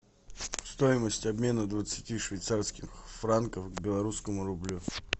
стоимость обмена двадцати швейцарских франков к белорусскому рублю